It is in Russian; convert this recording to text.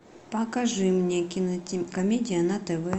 покажи мне кинокомедия на тв